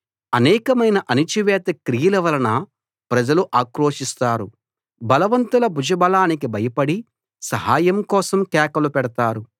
అనేకమైన అణచివేత క్రియల వలన ప్రజలు అక్రోశిస్తారు బలవంతుల భుజబలానికి భయపడి సహాయం కోసం కేకలు పెడతారు